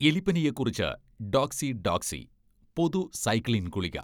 എലിപ്പനിയെക്കുറിച്ച് doxy doxy പൊതു cycline ഗുളിക